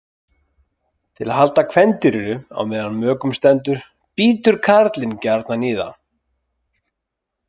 Til þess að halda kvendýrinu á meðan á mökun stendur bítur karlinn gjarnan í það.